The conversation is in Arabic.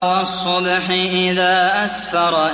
وَالصُّبْحِ إِذَا أَسْفَرَ